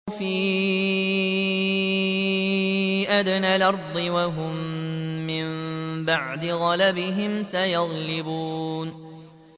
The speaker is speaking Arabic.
فِي أَدْنَى الْأَرْضِ وَهُم مِّن بَعْدِ غَلَبِهِمْ سَيَغْلِبُونَ